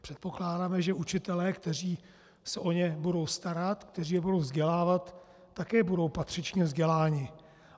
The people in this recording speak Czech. Předpokládáme, že učitelé, kteří se o ně budou starat, kteří je budou vzdělávat, také budou patřičně vzděláni.